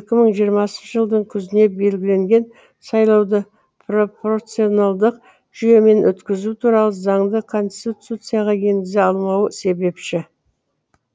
екі мың жиырмасыншы жылдың күзіне белгіленген сайлауды пропорционалдық жүйемен өткізу туралы заңды конституцияға енгізе алмауы себепші